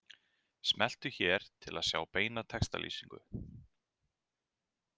Smelltu hér til að sjá beina textalýsingu